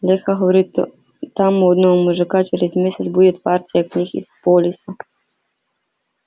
лёха говорит там у одного мужика через месяц будет партия книг из полиса